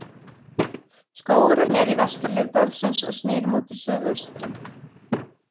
Skógurinn er í vesturhlíð dalsins og snýr móti suðaustri.